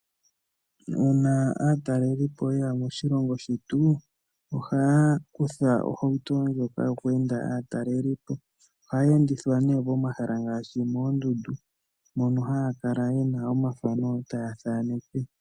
Una aatalelipo yeya moshilongo shetu, ohaya kutha ohauto ndjoka yoku enda aatalelipo. Ohaya endithwa nee pomahala ngashi moondundu, mono haya kala yena omathano taya thaneke.